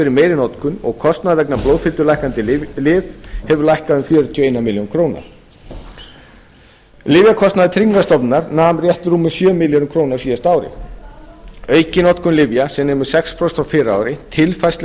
fyrir meiri notkun og kostnaður vegna blóðfitulækkandi lyfja hefur lækkað um fjörutíu og eina milljón lyfjakostnaður tryggingastofnunar nam rétt rúmum sjö milljörðum króna á síðasta ári aukin notkun lyfja sem nemur sex prósent frá fyrra ári tilfærsla